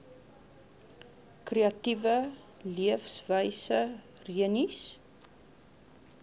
kreatiewe leefwyse rennies